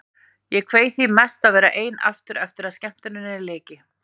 Ég kveið því mest að verða ein aftur eftir að skemmtuninni lyki.